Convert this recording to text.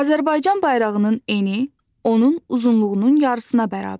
Azərbaycan bayrağının eni onun uzunluğunun yarısına bərabərdir.